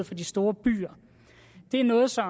til de store byer det er noget som